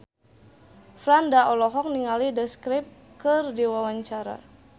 Franda olohok ningali The Script keur diwawancara